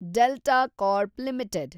delta Corp limited